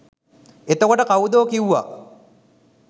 එතකොට කව්දෝ කිව්වා